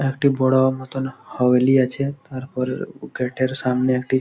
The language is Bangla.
একটি বড়ো মতন হাবলি আছে তারপর গেট -এর সামনে একটি--